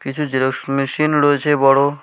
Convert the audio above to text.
কিছু xerox machine রয়েছে বড়ো।